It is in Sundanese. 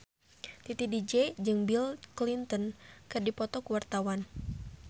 Titi DJ jeung Bill Clinton keur dipoto ku wartawan